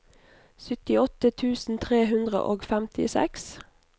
syttiåtte tusen tre hundre og femtiseks